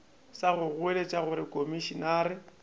sa go goeletša gore komišenare